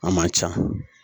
A man ca